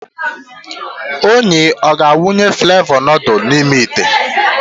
Onyi ọ ga-awụnye flevọ nudul n'ime ite?